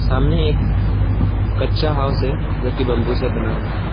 सामने एक कच्चा हाउस है जो कि बंबू से बना हुआ है।